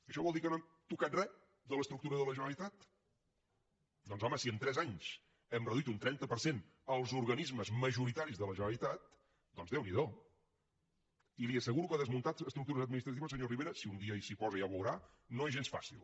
això vol dir que no hem tocat re de l’estructura de la generalitat doncs home si en tres anys hem reduït un trenta per cent els organismes majoritaris de la generalitat doncs déu n’hi do i li asseguro que desmuntar estructures administratives senyor rivera si un dia s’hi posa ja ho veurà no és gens fàcil